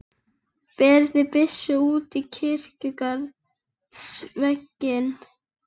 Undrandi fylgja augu Júlíu dökkrauðri langri nögl.